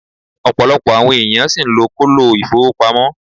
Opolopo awon eeyan si n lo kolo ifowopamo